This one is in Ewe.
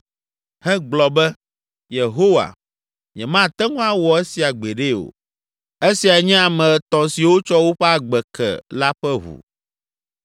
hegblɔ be, “Yehowa, nyemate ŋu awɔ esia gbeɖe o!” “Esiae nye ame etɔ̃ siwo tsɔ woƒe agbe ke la ƒe ʋu.”